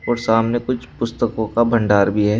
और सामने कुछ पुस्तकों का भंडार भी है।